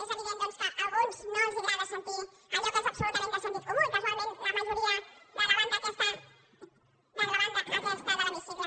és evident doncs que a alguns no els agrada sentir allò que és absolutament de sentit comú i casualment a la majoria de la banda aquesta de l’hemicicle